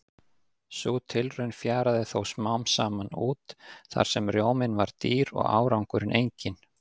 Sú tilraun fjaraði þó smám saman út þar sem rjóminn var dýr og árangurinn enginn.